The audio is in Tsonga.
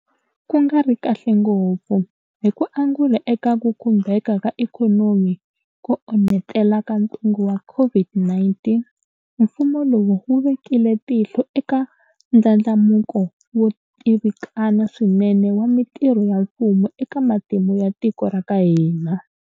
Ku nga ri kahle ngopfu, hi ku angula eka ku khumbeka ka ikhonomi ko onhetela ka ntungu wa COVID-19, mfumo lowu wu vekile tihlo eka ndlandlamuko wo tivikana swinene wa mitirho ya mfumo eka matimu ya tiko ra ka hina.